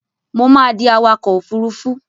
Mo máa di awakọ̀ òfurufú.